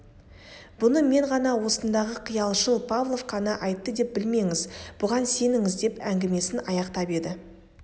бұны мен ғана осындағы қиялшыл павлов қана айтты деп білмеңіз бұған сеніңіз деп әңгімесін аяқтап еді